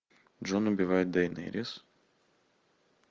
джон убивает дейнерис